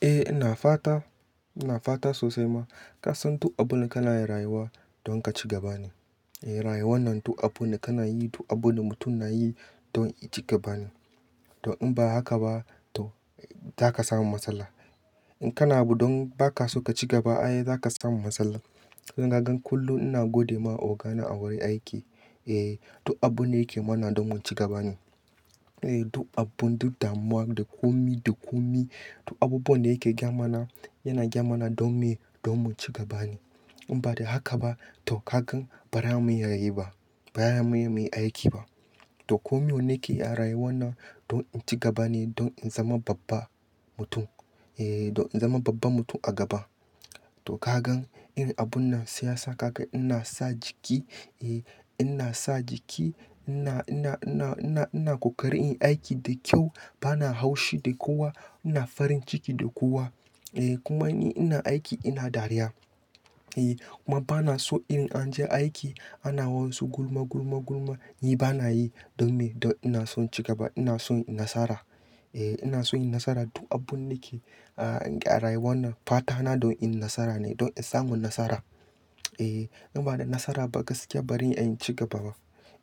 Eh ina fata, ina fata sosai ma. Ka san duk abin da kana rayuwa don kaci gaba ne. Rayuwar nan duk abu ne ka na yi, duk abin da mutum na yi don i ci gaba ne. Don in ba haka ba to za ka samu matsala. In kana abu don ba ka so ka ci gaba, ai za ka samu matsala. Don kagan kullum ina godema ogana a wurin aiki. Eh duk abun da yake mana don mu ci gaba ne. Duk abun, duk damuwa, da komi, da komi, duk abubuwan da yake gaya mana, yana gaya mana don me? Don mu ci gaba ne. In ba dan haka ba to kagan bara mu iya yi ba, bara mu mai aiki ba. To komai wanne keyi a rayuwar nan don in ci gaba ne don in zama babba mutum. Eh don in zama babban mutum a gaba. To kagan in abun nan siyasa kagan ina sa jiki, eh ina sa jiki, ina, ina, ina, ina, ina kokarin in aiki da kyau, bana haushi da kowa, ina farin ciki da kowa. Eh kuma ni ina aiki ina dariya. Eh kuma bana so in an je aiki ana wasu gulma, gulma, gulma, ni bana yi. Don me? Don ina son ci gaba, ina son nasara. Eh ina son in nasara duk abun da ke a rayuwar nan fatana don in nasara ne, don in samu nasara. Eh in ba dan nasara ba gaskiya bari in ci gaba ba.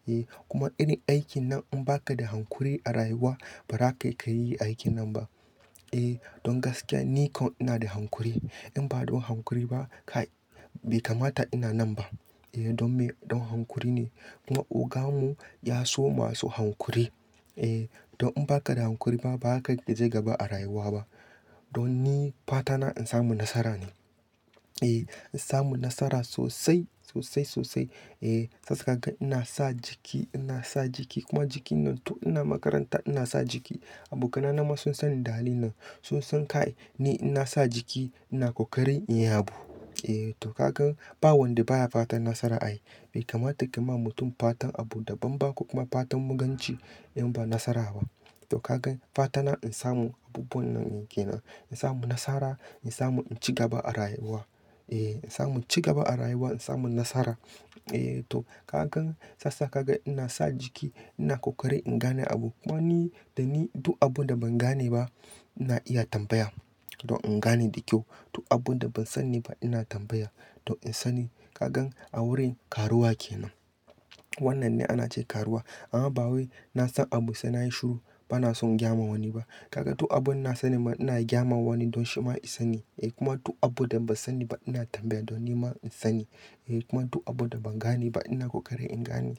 Eh kuma irin aikin nan in ba ka da hankuri a rayuwa bara ka kayi aikin nan ba. Eh don gaskiya ni kon ina da hankuri. In ba don hankuri ba kai bai kamata ina nan ba. Eh don me? Don hankuri ne. Kuma ogan mu ya so masu hankuri. Eh don in ba kada hankuri ba, ba ka je gaba a rayuwa ba. Don ni fatana in samu nasara ne. Eh in samu nasara sosai, sosai, sosai. Eh sasa kagan ina sa jiki, ina sa jiki kuma jiki nan tun ina makaranta ina sa jiki. Abokanai na ma sun sanni da halin nan. Sun san kai ni ina sa jiki ina kokarin in ya bu. Eh to kagan ba wanda baya fatan nasara ai. Bai kamata ka ma mutum fatan abu dabam ba ko kuma fatan muganci in ba nasara ba. To kagan fatana in samu abubuwan nan ke nan. In samu nasara, in samu in ci gaba a rayuwa. Eh in samu ci gaba a rayuwa, in samu nasara. Eh to kagan sasa kagan ina sa jiki ina kokarin in gane abu. Kuma ni, da ni duk abun da ban gane ba ina iya tambaya don in gane da kyau. Duk abun da ban sani ba ina tambaya don in sani. Kagan a wurin karuwa ke nan. Wannan ne ana ce karuwa. Amma ba wai nasan abu sai nayi shiru bana son gayama wani ba. Kagan duk abin da na sani ma ina gyama wani don shi ma ya sani. Eh kuma duk abun da ban sani ba ina tambaya don ni ma in sani. Eh kuma duk abun da ban gane ba ina kokarin in gane.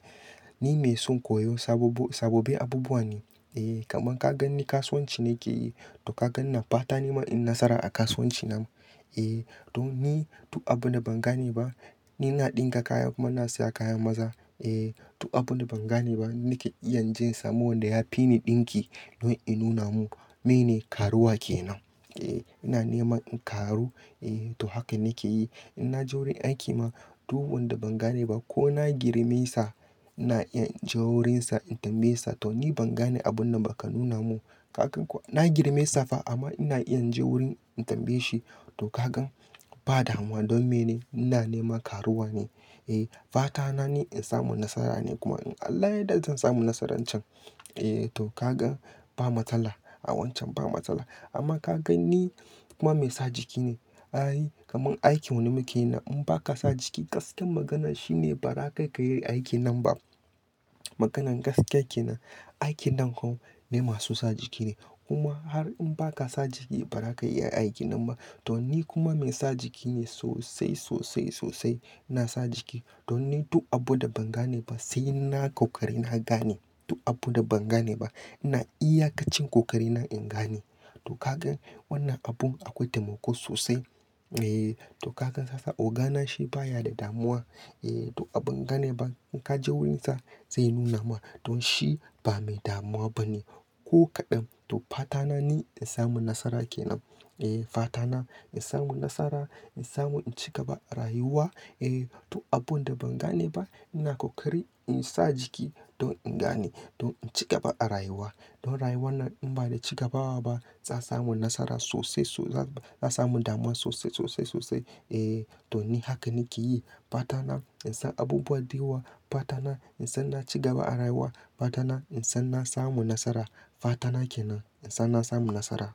Ni mai son koyo sabo, sababbin abubuwa ne. Eh kamar kagan ni kasuwanci nake yi to kagan ina fata nima in nasara a kasuwanci na. Eh don ni duk abun da ban gane ba, ni na ɗinka kaya kuma na siya kayan maza. Eh duk abun da ban gane ba nake iya inje samu wanda ya fi ni ɗinki don in nuna mun mene karuwa ke nan. Eh ina neman in karu, eh to haka nake yi. In na je wurin aiki ma duk wanda ban gane ba ko na girme sa, ina iya in je wurinsa in tambaye sa to ni ban gane abun nan ba ka nuna mun. Kagan kuwa na girme sa fa amma ina iya in je wurin in tambaye shi. To kagan ba damuwa don mene? Ina nema karuwa ne. Eh fatana ni in samu nasara ne kuma in Allah ya yarda zan samu nasarar can. Eh to kagan ba matsala a wancan ba matsala. Amma kagan ni kuma mai sa jiki ne. Ai kamar aikin wanne muke yi nan in ba ka sa jiki gaskiyar magana shine ba za ka iya yin aikin nan ba. Maganan gaskiya ke nan. Aikin nan ko na masu sa jiki ne. Kuma har in ba ka sa jiki ba ba ra ka iya aikin nan ba. Don ni kuma mai sa jiki ne sosai, sosai, sosai ina sa jiki. Don ni duk abun da ban gane ba sai na kokari na gane. Duk abun da ban gane ba ina iyakacin kokarina in gane. To kagan wannan abun akwai taimako sosai. Eh to kagan sasa ogana shi baya da damuwa. Eh duk abin ban gane ba in ka je wurinsa zai nuna ma don shi ba mai damuwa ba ne ko kaɗan. To fatana ni in samu nasara ke nan. Eh fatana in samu nasara, in samu in ci gaba a rayuwa. Eh to abun da ban gane ba ina kokari in sa jiki don in gane don in ci gaba a rayuwa. Don rayuwar nan in ba da cigabawa ba za samu nasara sosai so-- za, za samu damuwa sosai, sosai, sosai. Eh to ni haka nake yi. Fatana in san abubuwa da yawa, fatana in san na ci gaba a rayuwa, fatana in san na samu nasara, fatana ke nan in san na samu nasara.